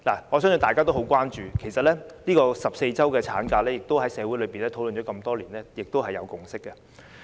我相信大家也很關注，因為14周產假在社會已討論多年並達致共識。